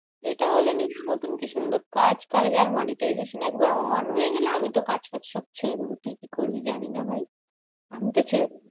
এটা হলে নিজের মতন কি সুন্দর কাজ করা যায়। monetization একবার on হয়ে গেলে আমি তো কাজ ফাজ সব ছেড়ে দেব। তুই কি করবি জানি না ভাই। আমি তো ছেড়ে দেব।